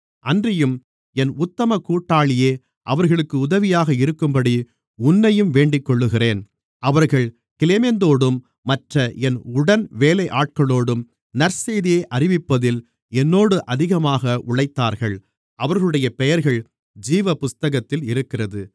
அன்றியும் என் உத்தம கூட்டாளியே அவர்களுக்கு உதவியாக இருக்கும்படி உன்னையும் வேண்டிக்கொள்ளுகிறேன் அவர்கள் கிலேமெந்தோடும் மற்ற என் உடன்வேலையாட்களோடும் நற்செய்தியை அறிவிப்பதில் என்னோடு அதிகமாக உழைத்தார்கள் அவர்களுடைய பெயர்கள் ஜீவபுத்தகத்தில் இருக்கிறது